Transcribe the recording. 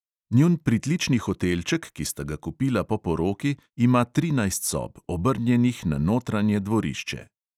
Njun pritlični hotelček, ki sta ga kupila po poroki, ima trinajst sob, obrnjenih na notranje dvorišče.